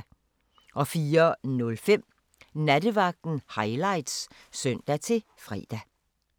04:05: Nattevagten Highlights (søn-fre)